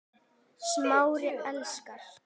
Smári elskar